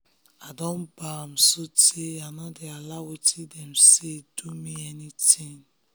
i don bam so tey i nor dey allow wetin dem say do me anytin